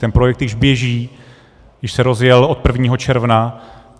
Ten projekt již běží, již se rozjel od 1. června.